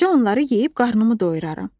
Gecə onları yeyib qarnımı doyuraram.